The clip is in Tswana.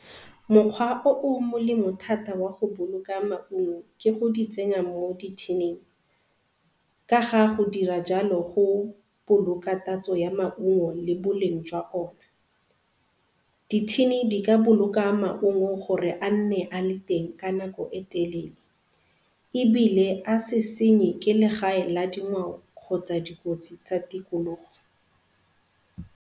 Mokgwa o o molemo thata wa go boloka maungo ke go di tsenya mo di-tin-ing ka ga go dira jalo go boloka tatso ya maungo le boleng jwa ona. Di-tin-e di ka boloka maungo gore a nne a le teng ka nako e telele ebile a se senye ke legae la dingwao kgotsa dikotsi tsa tikologo.